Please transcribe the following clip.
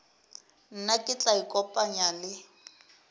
nna ke tla ikopanya le